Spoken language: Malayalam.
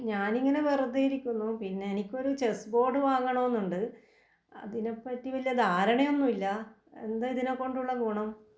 ഞാനിങ്ങനെ വെറുതെ ഇരിക്കുന്നു പിന്നെ എനിക്കൊരു ചെസ്സ് ബോർഡ് വാങ്ങണോന്നുണ്ട്. അതിനെപറ്റി വല്ല്യ ദാരണയൊന്നുമില്ല എന്താ ഇതിനെകൊണ്ടുള്ള ഗുണം?